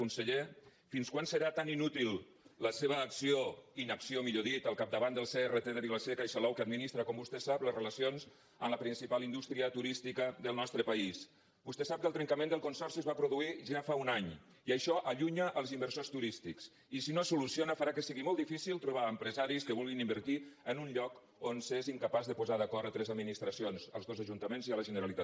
conseller fins quan serà tan inútil la seva acció inacció millor dit al capdavant del crt de vila seca i salou que administra com vostè sap les relacions amb la principal indústria turística del nostre país vostè sap que el trencament del consorci es va produir ja fa un any i que això allunya els inversors turístics i si no es soluciona farà que sigui molt difícil trobar empresaris que vulguin invertir en un lloc on s’és incapaç de posar d’acord tres administracions els dos ajuntaments i la generalitat